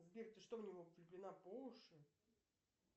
сбер ты что в него влюблена по уши